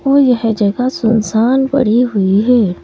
और जगह सुनसान पड़ी हुई है।